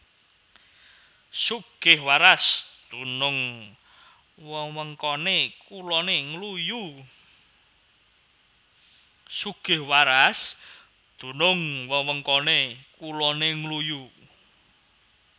Sugihwaras dunung wewengkone kulone Ngluyu